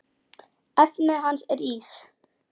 Efnið hans er ís.